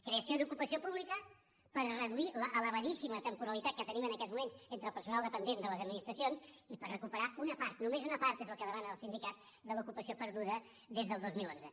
creació d’ocupació pública per reduir l’elevadíssima temporalitat que tenim en aquests moments entre el personal dependent de les administracions i per recuperar una part només una part és que el demanen els sindicats de l’ocupació perduda des del dos mil onze